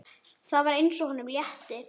Það var eins og honum létti.